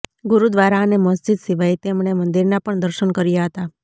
ગુરુદ્વારા અને મસ્જિદ સિવાય તેમણે મંદિરના પણ દર્શન કર્યા હતા